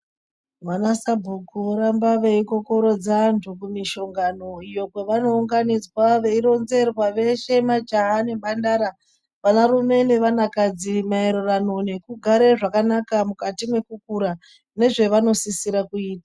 Vama sabhuku voramba veikokorodza antu iyo kumishongano iyo kwavanounganidzwa veironzerwa veshe majaha nemhandara, vanarume nevanakadzi mayererano nekugare zvakanaka mukati mwekukura nezvevanosisirwa kuita.